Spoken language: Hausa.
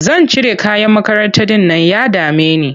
Zan cire uniform ɗin nan ya dame ni.